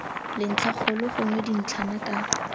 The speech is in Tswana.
le ntlhakgolo gongwe dintlhana ka